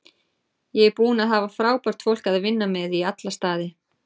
Ég er búinn að hafa frábært fólk að vinna með í alla staði.